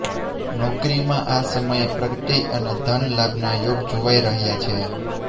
નોકરીમાં આ સમયે પ્રગતિ અને ધન લાભના યોગ જોવાઈ રહ્યા છે